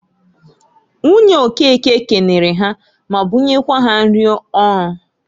Nwunye Okeke kenere ha ma bunyekwa ha nrị ọrụ.